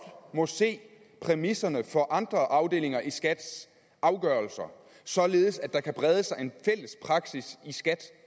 må se præmisserne for andre afdelinger i skats afgørelser således at der kan brede sig en fælles praksis i skat